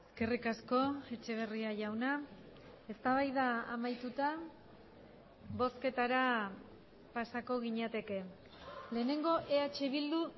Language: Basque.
eskerrik asko etxeberria jauna eztabaida amaituta bozketara pasako ginateke lehenengo eh bildu